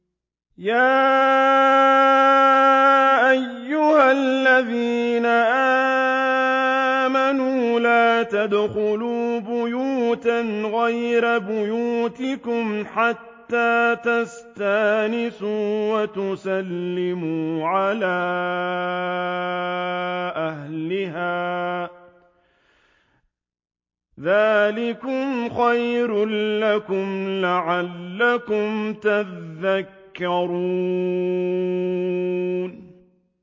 يَا أَيُّهَا الَّذِينَ آمَنُوا لَا تَدْخُلُوا بُيُوتًا غَيْرَ بُيُوتِكُمْ حَتَّىٰ تَسْتَأْنِسُوا وَتُسَلِّمُوا عَلَىٰ أَهْلِهَا ۚ ذَٰلِكُمْ خَيْرٌ لَّكُمْ لَعَلَّكُمْ تَذَكَّرُونَ